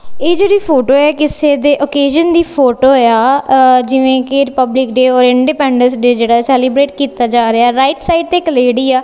ਇਹ ਜਿਹੜੀ ਫੋਟੋ ਹੈ ਕਿਸੇ ਦੇ ਓਕੇਸ਼ਨ ਦੀ ਫੋਟੋ ਆ ਜਿਵੇਂ ਕਿ ਰਿਪਬਲਿਕ ਡੇ ਔਰ ਇੰਡੀਪੈਂਡੈਂਸ ਡੇ ਜਿਹੜਾ ਸੈਲੀਬਰੇਟ ਕੀਤਾ ਜਾ ਰਿਹਾ ਰਾਈਟ ਸਾਈਡ ਤੇ ਇਕ ਲੇਡੀ ਆ।